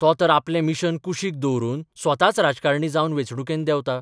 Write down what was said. तो तर आपलें मिशन कुशीक दवरून स्वताच राजकारणी जावन वेंचणुकेंत देवता.